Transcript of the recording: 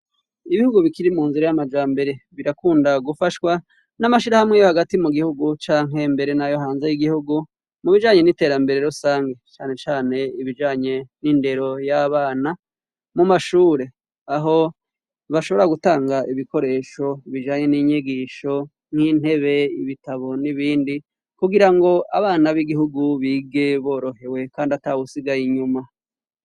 Ibihugu bikiri mu nzira y'amajambere birakunda gufashwa n'amashirahamwe yo hagati mu gihugu canke mbere n'ayohanze y'igihugu mu bijanye n'iterambere rusangi cane cane ibijanye n'indero y'abana mu mashure, aho bashobora gutanga ibikoresho bijanye n'inyigisho nk'intebe, ibitabo n'ibindi, kugirango abana b'igihugu bige borohewe kandi atawusigaye inyuma.